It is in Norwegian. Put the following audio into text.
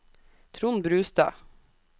Trond Brustad